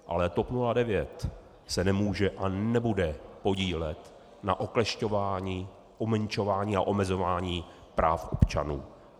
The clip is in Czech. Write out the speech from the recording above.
Ale TOP 09 se nemůže a nebude podílet na oklešťování, umenšování a omezování práv občanů.